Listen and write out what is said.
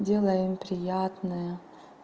делаю ему приятное